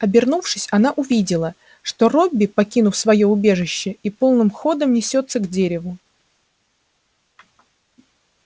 обернувшись она увидела что робби покинул своё убежище и полным ходом несётся к дереву